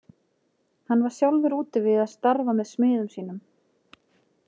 Hann var sjálfur úti við að starfi með smiðum sínum.